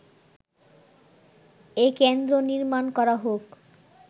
এ কেন্দ্র নির্মাণ করা হোক